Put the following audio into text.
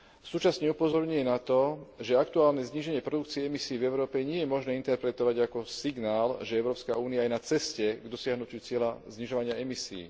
Súčasne upozorňuje na to, že aktuálne zníženie produkcií emisií v Európe nie je možné interpretovať ako signál, že Európska únia je na ceste k dosiahnutiu cieľa znižovania emisií.